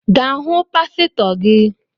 Ga hụ pasịtọ gi